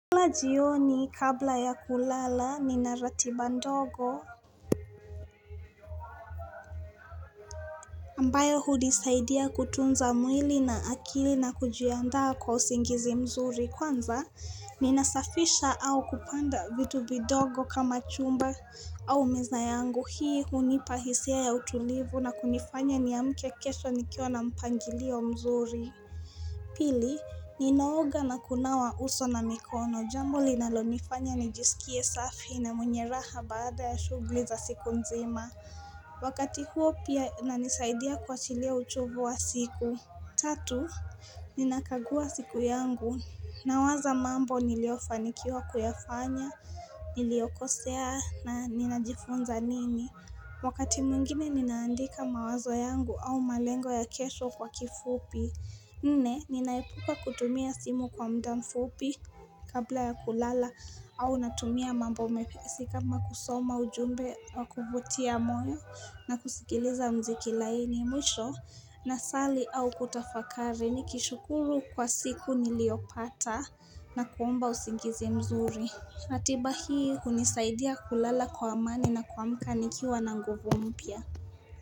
Kula jioni kabla ya kulala, nina ratiba ndogo. Ambayo hunisaidia kutunza mwili, na akili, na kujiandaa kwa usingizi mzuri kwanza, ninasafisha au kupanda vitu vidogo kama chumba au meza yangu. Hii hunipa hisia ya utulivu na kunifanya niamke kesho nikiwa na mpangilio mzuri. Pili, ninaoga na kunawa uso na mikono. Jambo linalonifanya nijisikie safi na mwenye raha baada ya shughuli za siku nzima. Wakati huo pia inanisaidia kuwachilia uchovu wa siku. Tatu, ninakagua siku yangu. Nawaza mambo niliofanikiwa kuyafanya. Niliokosea na ninajifunza nini. Wakati mwingine ninaandika mawazo yangu au malengo ya kesho kwa kifupi. Nne, ninaepuka kutumia simu kwa muda mfupi. Kabla ya kulala au natumia mambo mepesi kama kusoma ujumbe wa kuvutia moyo, na kusikiliza mziki laini. Mwisho nasali au kutafakari, nikishukuru kwa siku niliopata na kuomba usingizi mzuri. Atiba hii hunisaidia kulala kwa amani na kuamka nikiwa na nguvu mpya.